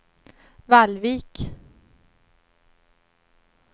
Vallvik